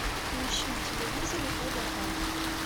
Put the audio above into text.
поищи на телевизоре тдк